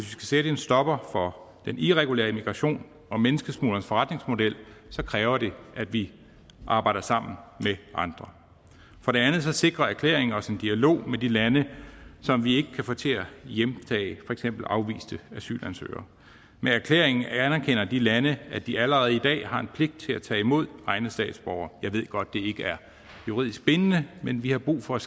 sætte en stopper for den irregulære migration og menneskesmuglernes forretningsmodel kræver det at vi arbejder sammen med andre for det andet sikrer erklæringer os en dialog med de lande som vi ikke kan få til at hjemtage for eksempel afviste asylansøgere med erklæringen anerkender de lande at de allerede i dag har en pligt til at tage imod egne statsborgere jeg ved godt at det ikke er juridisk bindende men vi har brug for at